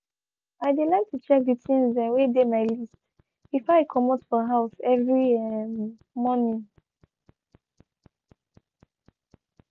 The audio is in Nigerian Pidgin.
i de like to check de things dem wey de my list before i comot for house every um morning.